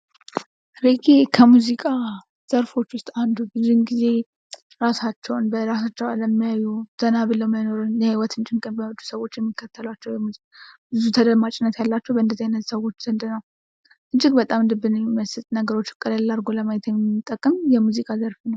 ሬጌ ከሙዚቃ ዘርፎች ዉስጥ አንዱ ነው:: ብዙውን ጊዜ ራሳቸውን በራሳቸው ዓለም የሚያዩ ዘናብለው መኖርን የሕይወትን ጭንቅ የማይወዱ ሰዎች የምከተላውሏቸው የሙዚቃ ናቸው:: ብዙ ተደማጭነት ያላቸው በእንደዚህ አይነት ሰዎች ዘንድ ነው:: እጅግ በጣም ልብን የሚመስጥ ነገሮችን ቀለል አርጎ ለማየት የሚጠቅም የሙዚቃ ዘርፍ ነው::